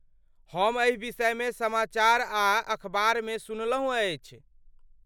हम एहि विषयमे समाचार आ अखबार मे सुनलहुँ अछि।